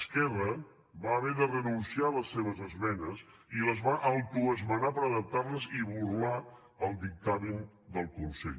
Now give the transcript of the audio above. esquerra va haver de renunciar a les seves esmenes i les va autoesmenar per adaptar les i burlar se del dictamen del consell